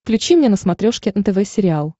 включи мне на смотрешке нтв сериал